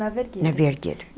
Na Vergueiro. Na Vergueiro.